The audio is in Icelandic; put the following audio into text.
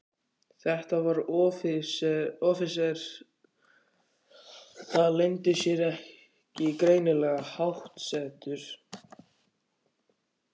Þetta var offíseri, það leyndi sér ekki, greinilega háttsettur.